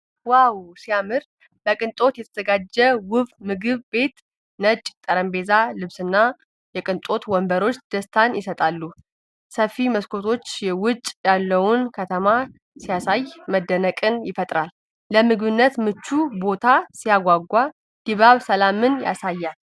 ዋው ሲያምር! በቅንጦት የተዘጋጀ ውብ ምግብ ቤት። ነጭ የጠረጴዛ ልብስና የቅንጦት ወንበሮች ደስታን ይሰጣሉ። ሰፊ መስኮቶች ውጭ ያለውን ከተማ ሲያሳዩ መደነቅን ይፈጥራል። ለምግብነት ምቹ ቦታ ሲያጓጓ! ድባቡ ሰላምን ያሳያል።